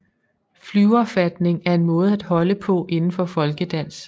Flyverfatning er en måde at holde på inden for folkedans